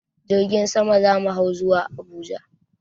Jirgin sama za mu hau zuwa Abuja.